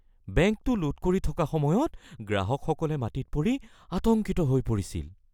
বেংকটো লুট কৰি থকা সময়ত গ্ৰাহকসকলে মাটিত পৰি আতংকিত হৈ পৰিছিল।